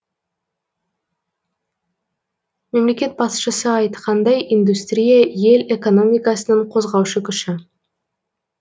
мемлекет басшысы айтқандай индустрия ел экономикасының қозғаушы күші